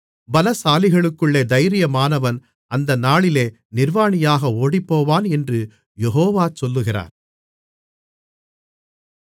பலசாலிகளுக்குள்ளே தைரியமானவன் அந்த நாளிலே நிர்வாணியாக ஓடிப்போவான் என்று யெகோவா சொல்லுகிறார்